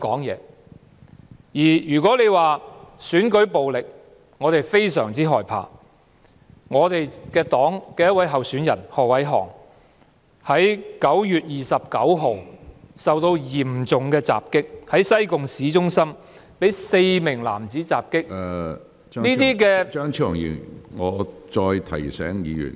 如果你說我們非常害怕選舉暴力，敝黨的一位候選人何偉航9月29日在西貢市中心便遭到4名男子襲擊，身受嚴重傷害。